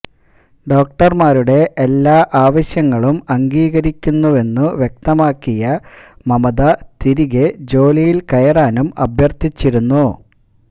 ഡോക്ടര്മാരുടെ എല്ലാ ആവശ്യങ്ങളും അംഗീകരിക്കുന്നുവെന്നു വ്യക്തമാക്കിയ മമത തിരികെ ജോലിയില് കയറാനും അഭ്യര്ഥിച്ചിരുന്നു